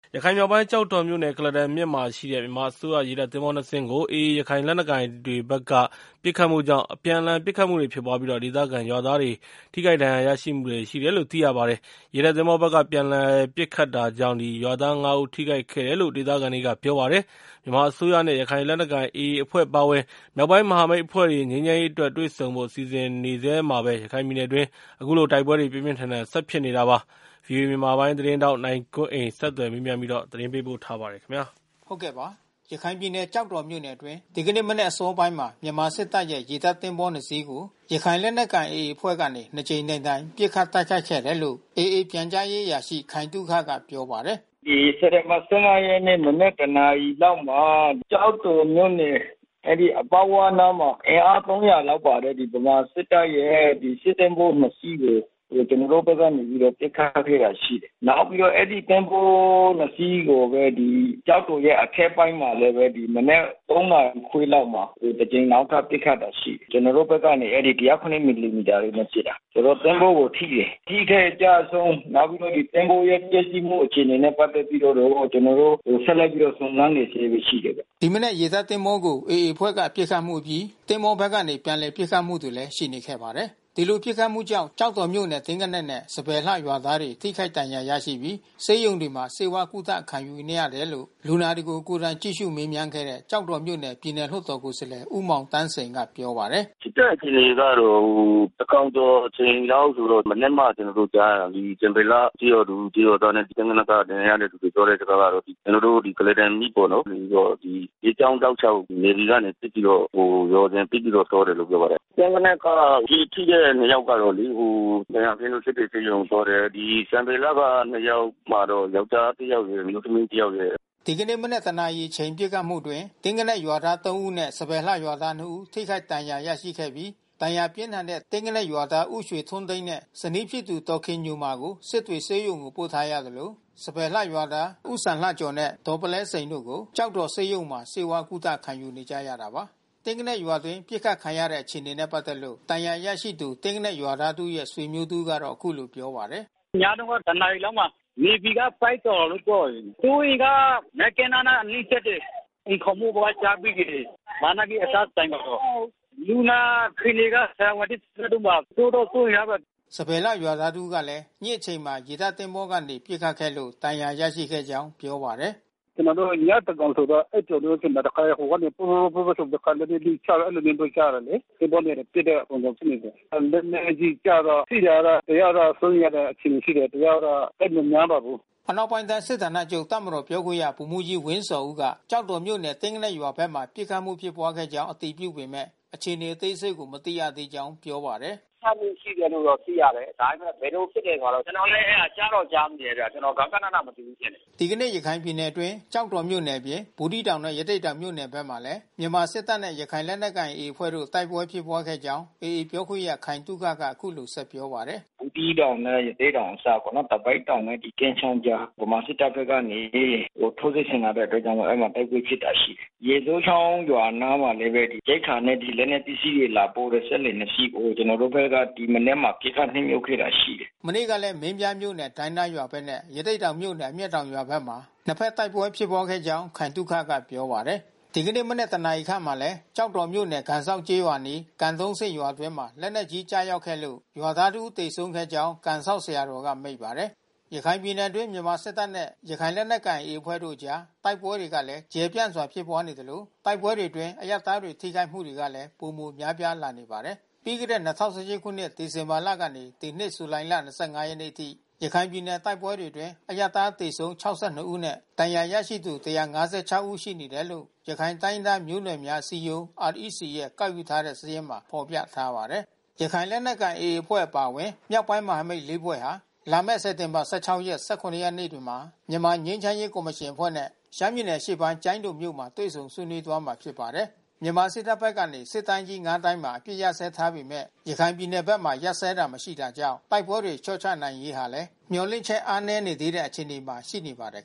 ရခိုင်မြောက်ပိုင်း ကျောက်တော်မြို့နယ် ကုလားတန်မြစ်မှာရှိတဲ့ မြန်မာအစိုးရ ရေတပ်သင်္ဘောနှစ်စင်းကို AA ရခိုင်လက်နက်ကိုင်တွေဘက်က ပစ်ခတ်မှုကြောင့် အပြန်အလှန် ပစ်ခတ်မှုတွေဖြစ်ပြီး ဒေသခံရွာသားတွေ ထိခိုက်ဒဏ်ရာရမှုတွေ ရှိတယ်လို့ သိရပါတယ်။ ရေတပ်သင်္ဘောဘက်က ပြန်လည်ပစ်ခတ်တာကြောင့် ရွာသား ၅ ဦး ထိခိုက်ခဲ့တာလို့ ဒေသခံတွေက ပြောပါတယ်။ မြန်မာအစိုးရနဲ့ ရခိုင်လက်နက်ကိုင် AA အဖွဲ့ အပါအဝင် မြောက်ပိုင်းမဟာမိတ်အဖွဲ့တွေနဲ့ ငြိမ်းချမ်းရေးအတွက် တွေ့ဆုံဖို့ စီစဉ်နေဆဲမှာပဲ ရခိုင်ပြည်နယ်အတွင်း အခုလို တိုက်ပွဲတွေ ပြင်းပြင်းထန်ထန် ဆက်ဖြစ်နေတာပါ။ ဗွီအိုအေမြန်မာပိုင်းသတင်းထောက် နိုင်ကွန်းအိန်က ဆက်သွယ်မေးမြန်း သတင်းပေးပို့ထားပါတယ်။ ရခိုင်ပြည်နယ်၊ ကျောက်တော်မြို့နယ်အတွင်း ဒီနေ့မနက် အစောပိုင်းမှာ မြန်မာစစ်တပ်ရဲ့ ရေတပ်သင်္ဘောနှစ်စီ်းကို ရခိုင်လက်နက်ကိုင် AA အဖွဲ့ကနေ နှစ်ကြိမ်တိုင်တိုင် ပစ်ခတ်တိုက်ခိုက်ခဲ့တယ်လို့ AA ပြန်ကြားရေးအရာရှိ ခိုင်သုခက ပြောပါတယ်။ “စက်တင်ဘာလ ၁၅ ရက်နေ့ မနက် ၁ နာရီလောက်မှာ ကျောက်တော်မြို့နယ် အပေါက်ဝနားမှာ အင်အား ၃၀၀ လောက်ပါတဲ့ မြန်မာစစ်တပ်ရဲ့ စစ်သင်္ဘောနှစ်စီးကို ကျနော်တို့ဘက်ကနေပြီးတော့ ပစ်ခတ်ခဲ့တာရှိတယ်။ နောက်ပြီးတော့ အဲဒီသင်္ဘောနှစ်စီးကိုပဲ ကျောက်တော်ရဲ့ အထက်ပိုင်းမှာလည်းပဲ မနက် ၃ နာရီခွဲလောက်မှာ တကြိမ် နောက်ထပ်ပစ်ခတ်တာရှိတယ်။ ကျနော်တို့ဘက်ကနေ ၁၀၇ မီလိမီတာတွေနဲ့ပစ်တာ။ ဆိုတော့ သင်္ဘောကိုထိတယ်။ အထိခိုက်အကျဆုံး နောက်ပြီးတော့ သင်္ဘောရဲ့ ပျက်စီးမှုအခြေအနေနဲ့ ပတ်သက်ပြီးတော့ ကျနော်တို့ ဆက်လက်စုံစမ်းနေဆဲပဲရှိတယ်ဗျ။” ဒီမနက် ရေတပ်သင်္ဘောကို AA အဖွဲ့ ပစ်ခတ်မှုအပြီး သဘောၤဘက်ကနေ ပြန်လှန်ပစ်ခတ်မှုတွေလည်း ရှိနေခဲ့ပါတယ်။ ဒီလိုပစ်ခတ်မှုကြောင့် ကျောက်တော်မြို့နယ် သင်္ဂနက်နဲ့ စံပယ်လှရွာသားတွေ ထိခိုက်ဒဏ်ရာရရှိပြီး ဆေးရုံတွေမှာ ဆေးဝါးကုသမှု ခံယူနေရတယ်လို့ လူနာတွေကို ကိုယ်တိုင်ကြည့်ရှု မေးမြန်းခဲ့တဲ့ ကျောက်တော်မြို့နယ် ပြည်နယ်လွှတ်တော်ကိုယ်စားလှယ် ဦးမောင်သန်းစိန်က ပြောပါတယ်။ “ဖြစ်တဲ့အခြေအနေကတော့ သန်းခေါင်ကျော်အချိန်လောက်ဆိုတော့ မနက်မှ ကျေနာ်တို့ ကြားရတယ်။ စံပယ်လှ ကျေးရွာသူ ကျေးရွာသားနဲ့ သင်္ဂနက်သား ဒဏ်ရာရသူပြောတဲ့ စကားကတော့။ ကျနော်တို့ ဒီ ကုလားတန်မြစ်ကနေပြီးတော့ မြစ်ကြောင်းတောက်လျှောက် NAVY ကနေပစ်ပြီးတော့ ရွာစဉ်ပစ်ပြီးတော့ သွားတယ်လို့ ပြောပါတယ်။ သင်္ဂနက်က ကျည်ထိတဲ့နှစ်ယောက်ကတော့လေ ဒဏ်ရာပြင်းလို့ စစ်တွေဆေးရုံကို သွားတယ်။ စံပယ်လှက နှစ်ယောက်မှာတော့ ယောကျာ်းတယောက်ရယ် အမျိုးသမီးတယောက်ရယ်။” ဒီကနေ့ မနက် ၁ နာရီအချိန် ပစ်ခတ်မှုအတွင်း သင်္ဂနက်ရွာသား ၃ ဦးနဲ့ စံပယ်လှရွာသား ၂ ဦး ထိခိုက်ဒဏ်ရာ ရရှိခဲ့ပြီး ဒဏ်ရာပြင်းထန်တဲ့ သင်္ဂနက်ရွာသား ဦးရွှေထွန်းသိန်းနဲ့ ဇနီးဖြစ်သူ ဒေါ်ခင်ညိုမာကို စစ်တွေဆေးရုံကို ပို့ထားရသလို စံပယ်လှရွာသား ဦးစံလှကျော်နဲ့ ဒေါ်ပုလဲစိန်တို့ကို ကျောက်တော်ဆေးရုံမှာ ဆေးဝါးကုသ ခံနေကြရတာပါ။ သင်္ဂနက်ရွာအတွင်း ပစ်ခတ်ခံရတဲ့ အခြေအနေနဲ့ပတ်သက်လို့ ဒဏ်ရာရသူ သင်္ဂနက်ရွာသားတဦးရဲ့ ဆွေမျိုးတဦးက အခုလိုပြောပါတယ်။ “ညတုန်းက ၁ နာရီလောက်မှာ NAVY ကပစ်တယ်လို့ ပြောတယ်။ သူတို့တတွေက မြစ်ကမ်းနားအနီးပစ်တယ်။ အိမ်ခေါင်မိုးပေါ်ကျပစ်တယ်။ လက်နက်ကြီးအစ စင်တယ်ပေါ့။ လူနာအခြေအနေက ဆရာဝန်နဲ့ စစ်ဆေးတုန်းပါ။ စိုးတော့စိုးရိမ်ရပါတယ်။” စံပယ်လှရွာသားတဦးကလည်း ညဉ့်နက်အချိန်မှာ ရေတပ်သင်္ဘောကနေ ပစ်ခတ်ခဲ့လို့ ဒဏ်ရာရရှိခဲ့ကြောင်း ပြောပါတယ်။ “ကျနော်တို့ ညသန်းခေါင်ကျော်ဆိုတော့ အိပ်ပျော်နေတုန်းဖြစ်မယ်။ တခါတည်း ဟိုကနေ ဖရူးဖရူးဆိုပြီးတော့ လက်နက်ကြီးချတယ်။ အဲဒီလိုမျိုးပဲ ကြားတယ်လေ။ သင်္ဘောနဲ့ပစ်တဲ့ပုံစံမျိုး ဖြစ်နေတယ်။ လက်နက်ကြီးကျတော့ ထိတာကတော့ တယောက်တော့ စိုးရိမ်ရတဲ့ အခြေအနေရှိနေတယ်။ တယောက်တော့ သိပ်မများပါဘူး။” အနောက်ပိုင်းတိုင်းစစ်ဌာနချုပ် တပ်မတော်ပြောခွင့်ရ ဗိုလ်မှူးကြီးဝင်းဇော်ဦးက ကျောက်တော်မြို့နယ် သင်္ဂနက်ရွာဘက်မှာ ပစ်ခတ်မှုဖြစ်ပွားခဲ့ကြောင်း အတည်ပြုပေမယ့် အခြေနေအသေးစိတ် မသိရသေးကြောင်း ပြောပါတယ်။ “ပစ်ခတ်မှုရှိတယ်လို့တော့ သိရတယ်။ ဒါပေမယ့် ဘယ်လိုဖြစ်တယ်ဆိုတာတော့ ကျနော်လည်း ကြားတော့ကြားမိတယ်။ ကျနော် ဂဃနဏမသိဘူး ဖြစ်နေတယ်။” ဒီကနေ့ ရခိုင်ပြည်နယ်အတွင်း ကျောက်တော်မြို့နယ်အပြင် ဘူးသီးတောင်နဲ့ ရသေ့တောင်မြို့နယ်မှာလည်း မြန်မာစစ်တပ်နဲ့ ရခိုင်လက်နက်ကိုင် AA အဖွဲ့တို့ တိုက်ပွဲဖြစ်ပွားခဲ့ကြာင်း AA ပြောခွင့်ရ ခိုင်သုခက အခုလိုဆက်ပြောပါတယ်။ “ဘူးသီးတောင်နဲ့ ရသေ့တောင်အစပ်ပေါ့နော်၊ သပိတ်တောင်နဲ့ ကင်းချောင်းအကြား ဗမာစစ်တပ်ဘက်ကနေ ထိုးစစ်ဆင်လာတဲ့အတွက်ကြောင့် အဲဒီမှာ တိုက်ပွဲဖြစ်တာရှိတယ်။ ရေစိုးချောင်းရွာအနားမှာလည်းပဲ ရိက္ခာနဲ့ လက်နက်ပစ္စည်းတွေ လာပို့တဲ့ စက်လှေနှစ်စီးကို ကျနော်တို့ဘက်က ဒီမနက်မှာ ပစ်ခတ်နှစ်မြုပ်ခဲ့တာရှိတယ်။” မနေ့ကလည်း မင်းပြားမြို့နယ် ဒိုင်းသားရွာဘက်နဲ့ ရသေ့တောင်မြို့နယ် အမျက်တောင်ရွာဘက်မှာ နှစ်ဖက်တိုက်ပွဲ ဖြစ်ပွားခဲ့ကြောင်း ခိုင်သုခက ပြောပါတယ်။ ဒီကနေ့မနက် ၁ နာရီခန့်မှာလည်း ကျောက်တော်မြို့နယ် ကန်စောင့်ကျေးရွာအနီး ကန်သုံးဆင့်ရွာအတွင်း လက်နက်ကြီး ကျရောက်ခဲ့လို့ ရွာသားတဦး သေဆုံးခဲ့ကြောင်း ကန်စောင့်ဆရာတော်က မိန့်ပါတယ်။ ရခိုင်ပြည်နယ်အတွင်း မြန်မာစစ်တပ်နဲ့ ရခိုင်လက်နက်ကိုင် AA အဖွဲ့တို့အကြား တိုက်ပွဲတွေကလည်း ကျယ်ကျယ်ပြန့်ပြန့် ဖြစ်ပွားနေသလို တိုက်ပွဲတွေအတွင်း အရပ်သားတွေ ထိခိုက်မှုတွေကလည်း ပိုမိုများပြားလာနေပါတယ်။ ပြီးခဲ့တဲ့ ၂၀၁၈ ခုနှစ် ဒီဇင်ဘာလကနေ ဒီနှစ် ဇူလိုင်လ ၂၅ ရက်နေ့ထိ ရခိုင်ပြည်နယ် တိုက်ပွဲတွေအတွင်း အရပ်သား သေဆုံး ၆၂ ဦးနဲ့ ဒဏ်ရာရသူ ၁၅၆ ဦးရှိတယ်လို့ ရခိုင်တိုင်းရင်းသားမျိုးနွယ်များ အစည်းအရုံး REC ရဲ့ ကောက်ယူထားတဲ့စာရင်းမှာ ဖော်ပြခဲ့ပါတယ်။ ရခိုင်လက်နက်ကိုင် AA အဖွဲ့ အပါအဝင် မြောက်ပိုင်းမဟာမိတ် ၄ ဖွဲ့ဟာ လာမယ့် စက်တင်ဘာ ၁၆ နဲ့ ၁၇ ရက်နေ့တွေမှာ မြန်မာငြိမ်းချမ်းရေးကော်မရှင်အဖွဲ့နဲ့ ရှမ်းပြည်နယ်အရှေ့ပိုင်း ကျိုင်းတုံမြို့မှာ တွေ့ဆုံဆွေးနွေးသွားမှာ ဖြစ်ပါတယ်။ မြန်မာစစ်တပ်ဘက်ကနေ စစ်တိုင်းကြီး ၅ တိုင်းမှာ အပစ်အခတ် ရပ်စဲထားပေမယ့် ရခိုင်ပြည်နယ်ဘက်မှာ ရပ်စဲတာမရှိတာကြောင့် တိုက်ပွဲတွေ လျှော့ချနိုင်ရေးဟာလည်း မျှော်လင့်ချက် အားနည်းနေသေးတဲ့ အခြေအနေမှာ ရှိနေပါတယ်